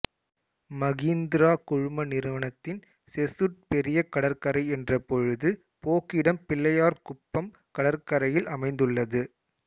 மகீந்திரா குழும நிறுவனத்தின் செசுட் பெரிய கடற்கரை என்ற பொழுது போக்கிடம் பிள்ளையார்குப்பம் கடற்கரையில் அமைந்துள்ளது